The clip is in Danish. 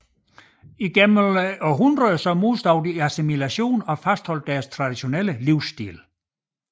Igennem århundreder modstod de assimilation og fastholdt deres traditionelle livsstil